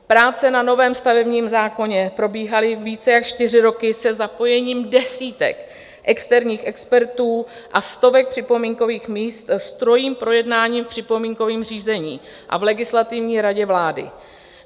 Práce na novém stavebním zákoně probíhaly více než čtyři roky se zapojením desítek externích expertů a stovek připomínkových míst s trojím projednáním v připomínkovém řízení a v Legislativní radě vlády.